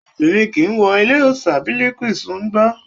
Obìnrin kìí wọ ilé òòṣà bìlìkísù ṣùngbó.